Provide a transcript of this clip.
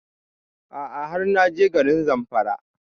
A'a har na je garin Zamfara